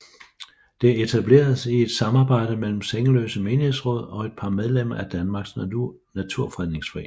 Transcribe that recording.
Det etableredes i et samarbejde mellem Sengeløse Menighedsråd og et par medlemmer af Danmarks Naturfredningsforening